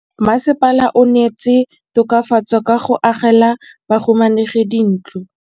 Mmasepala o neetse tokafatsô ka go agela bahumanegi dintlo.